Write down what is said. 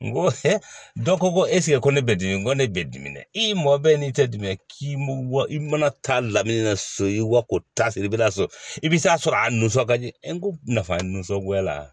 N ko dɔ ko ko eseke ko ne bɛ dimi n ko ne bɛ dimi dɛ i mɔ bɛ n'i tɛ dimi k'i wa i mana taa laminɛ so ko ta i bɛ taa sɔrɔ a nunsɔ ka di n ko nafa nisɔngoya la